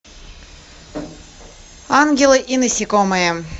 ангелы и насекомые